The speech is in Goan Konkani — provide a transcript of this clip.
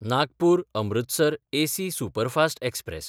नागपूर–अमृतसर एसी सुपरफास्ट एक्सप्रॅस